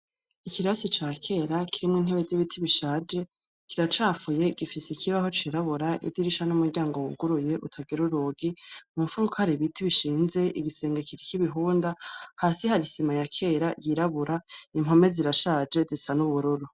Ikirasi ca kera kirimwo intebe z'ibiti bishaje, kiracafuye, gifise ikibaho cirabura, idirisha n'umuryango wuguruye utagira urugi, mu mfuruka hari ibiti bishinze, igisenge kiriko ibihunda, hasi hari isima ya kera yirabura, impome zirashaje zisa n'ubururu.